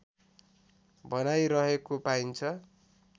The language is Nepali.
भनाइ रहेको पाइन्छ